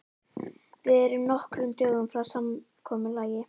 Við erum nokkrum dögum frá samkomulagi.